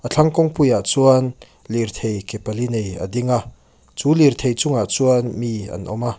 a thlang kawng puiah chuan lirthei ke pali nei a ding a chu lirthei chungah chuan mi an awm a.